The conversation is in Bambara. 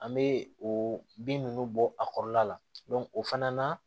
An bɛ o bin ninnu bɔ a kɔrɔla la o fana na